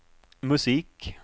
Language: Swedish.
musik